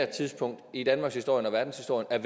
tidspunkt i danmarkshistorien og verdenshistorien